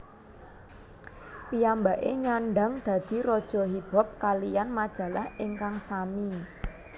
Piyambake nyandhang dadi Raja Hip Hop kaliyan majalah ingkang sami